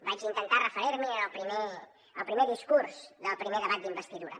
vaig intentar referir m’hi en el primer discurs del primer debat d’investidura